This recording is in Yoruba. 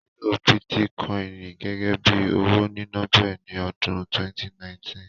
Ìlo bítíkọ́ìnì gẹ́gẹ́ bí owó níná bẹ̀rẹ̀ ní ọdún 2019